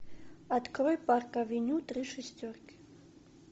открой парк авеню три шестерки